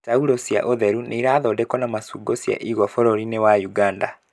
Taurũ cia ũtheru nĩ irathondekwo na macungo cia igwa bũrũri-inĩ wa Uganda.